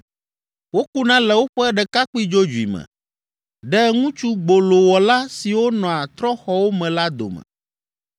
Wokuna le woƒe ɖekakpui dzodzoe me, ɖe ŋutsu gbolowɔla siwo nɔa trɔ̃xɔwo me la dome.